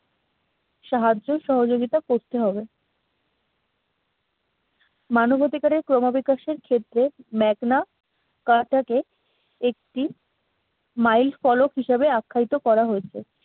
সাহায্য সহযোগিতা করতে হবে মানবাধিকারের ক্রমবিকাশের ক্ষেত্রে ম্যাগনা আকার থেকে একটি মাইল ফলক হিসাবে আখ্যায়িত করা হয়েছে